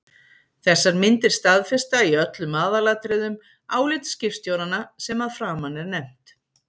Þessar myndir staðfesta í öllum aðalatriðum álit skipstjóranna sem að framan er nefnt.